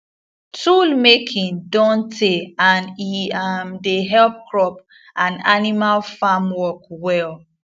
yoolmaking don tey and e um dey help crop and animal farmwork well